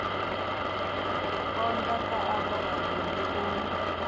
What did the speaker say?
konda kha avho vhavhili u